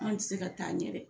An tɛ se ka taa ɲɛ dɛ